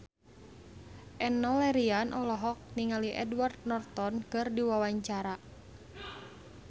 Enno Lerian olohok ningali Edward Norton keur diwawancara